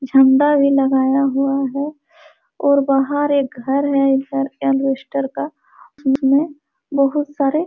झंडा भी लगाया हुआ है और बाहर एक घर है इधर एल्वेस्टर का जिसमे बहुत सारे --